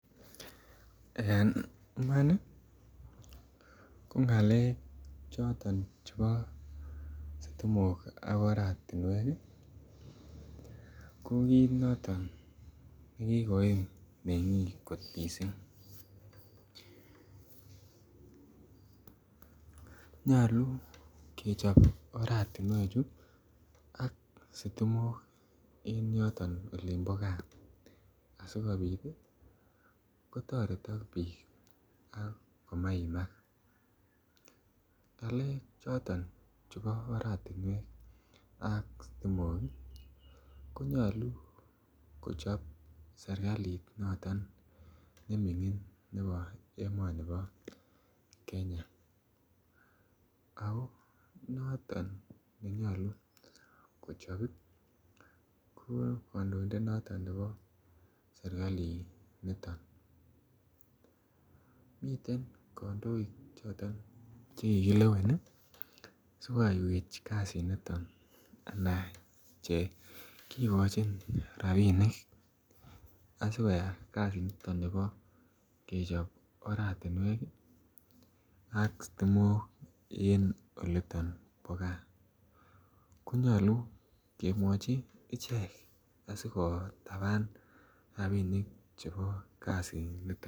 En Iman ko ngalek choton chebo sitimok ak oratinwek ii ko kit noton nekikoim mengik kot mising nyolu kechob oratinewechu ak sitimok en yoton olin bo gaa asikobit kotoretok bik ak komaimak ngalek choton chebo oratinwek ak sitimok ii ko nyolu kochob serkalit noton nemingin nebo emoni bo Kenya ako noton ne nyolu kochob ii ko kandoindet noton nebo serkalinito miten kandoik choton Che kikilewen ii asi koyaiywech kasiniton anan Che kigochin rabinik asi koyai kasiniton nebo kechob oratinwek ii ak sitimok en oliton bo gaa ko nyolu kemwochi ichek asi ko taban rabinik chebo kasiniton